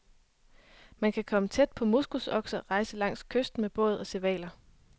Man kan komme tæt på moskusokser, rejse langs kysten med båd og se hvaler.